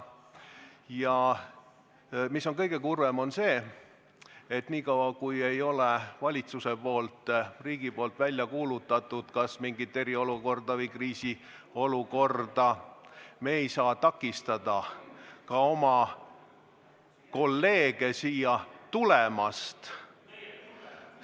Ja kõige kurvem on see, et kuni ei ole valitsus, riik välja kuulutatud eriolukorda või kriisiolukorda, me ei saa takistada oma kolleege siia tulemast.